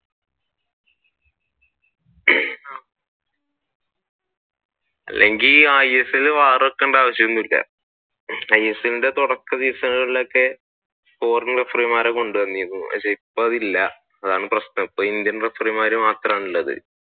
isl ഇൽ variable വെക്കേണ്ട ആവശ്യം ഒന്നും ഇല്ല isl ന്റെ തുടക്ക സീസണിൽ ഒക്കെ foreign referee മാരെ കൊണ്ടുവന്നിരുന്നു പക്ഷെ ഇപ്പൊ അതില്ല അതാണ് പ്രശ്നം indian referee മാർ മാത്രമാണ് ഉള്ളത്